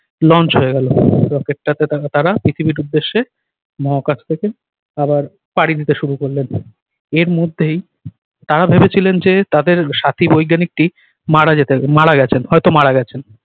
launch হয়ে গেল। rocket টা তে তারা তারা পৃথিবীর উদ্দেশ্য মহাকাশ থেকে আবার পাড়ি দিতে শুরু করলেন। এর মধ্যেই তারা ভেবেছিলেন যে তাদের সাথী বৈজ্ঞানিক টি মারা যেতে মারা গেছেন হয়তো মারা গেছেন।